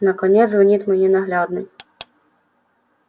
наконец звонит мой ненаглядный